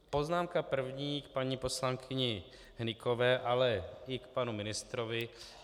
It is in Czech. Poznámka první k paní poslankyni Hnykové, ale i k panu ministrovi.